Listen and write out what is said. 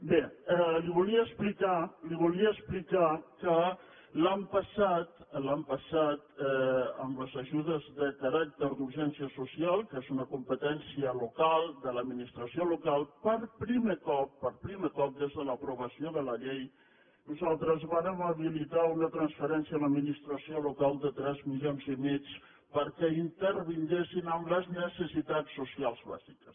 bé li volia explicar que l’any passat amb les ajudes de caràcter d’urgència social que és una competència local de l’administració local per primer cop per primer cop des de l’aprovació de la llei nosaltres vàrem habilitar una transferència a l’administració local de tres milions i mig perquè intervinguessin en les necessitats socials bàsiques